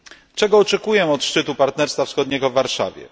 Czego oczekuję od szczytu Partnerstwa Wschodniego w Warszawie?